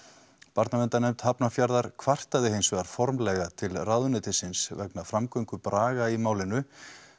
barnaverndarnefnd Hafnarfjarðar kvartaði hinsvegar formlega til ráðuneytisins vegna framgöngu Braga í málinu